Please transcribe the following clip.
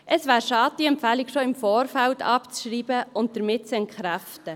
Es wäre schade, diese Empfehlung würde schon im Vorfeld abgeschrieben und somit entkräftet.